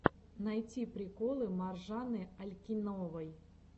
найти приколы маржаны алькеновой